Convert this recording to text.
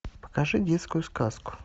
покажи детскую сказку